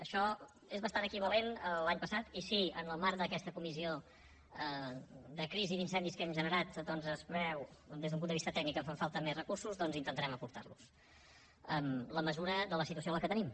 això és bastant equivalent a l’any passat i si en el marc d’aquesta comissió de crisi d’incendis que hem generat doncs es creu des d’un punt de vista tècnic que fan falta més recursos doncs intentarem aportar los en la mesura de la situació que tenim